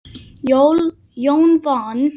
Jón vann.